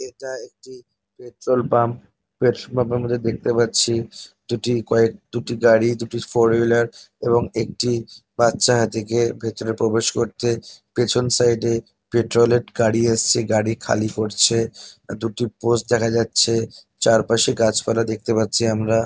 এইটা একটি petrol pump. Petrol pump -এর মধ্যে দেখতে পাচ্ছি দুটি কয়েক দুটি গাড়ি দুটি ফোর হুইলার এবং একটি বাচ্চা হাতিকে ভিতরে প্রবেশ করতে। পিছন সাইড - এ পেট্রল -এর গাড়ি এসেছে। গাড়ি খালি করছে। আর দুটি পোস্ট দেখা যাচ্ছে। চারপাশে গাছ পালা দেখতে পাচ্ছি আমরা।